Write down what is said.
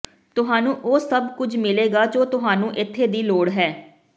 ਤੁਹਾਨੂੰ ਉਹ ਸਭ ਕੁਝ ਮਿਲੇਗਾ ਜੋ ਤੁਹਾਨੂੰ ਇੱਥੇ ਦੀ ਲੋੜ ਹੈ